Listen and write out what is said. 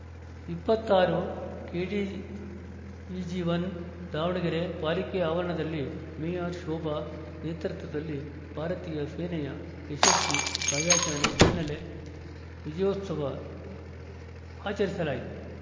ಇಪ್ಪತ್ತ್ ಆರು KDVG one Davangere ಪಾಲಿಕೆ ಆವರಣದಲ್ಲಿ ಮೇಯರ್‌ ಶೋಭಾ ನೇತೃತ್ವದಲ್ಲಿ ಭಾರತೀಯ ಸೇನೆಯ ಯಶಸ್ವಿ ಕಾರ್ಯಾಚರಣೆ ಹಿನ್ನೆಲೆ ವಿಜಯೋತ್ಸವ ಆಚರಿಸಲಾಯಿತು